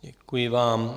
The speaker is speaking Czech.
Děkuji vám.